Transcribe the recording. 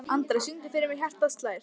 Andra, syngdu fyrir mig „Hjartað slær“.